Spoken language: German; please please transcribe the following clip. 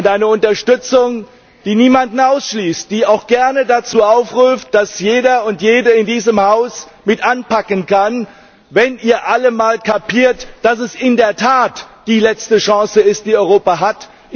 Eine Unterstützung, die niemanden ausschließt, die auch gerne dazu aufruft, dass jeder und jede in diesem Haus mit anpacken kann, wenn ihr alle mal kapiert, dass es in der Tat die letzte Chance ist, die Europa hat.